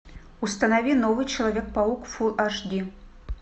установи новый человек паук фул аш ди